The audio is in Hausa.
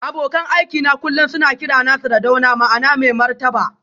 Abokan aikina kullum suna kirana Sardauna ma'ana mai martaba